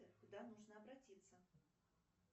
куда нужно обратиться